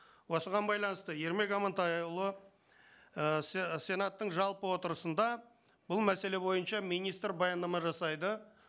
осыған байланысты ермек амантайұлы ііі сенаттың жалпы отырысында бұл мәселе бойынша министр баяндама жасайды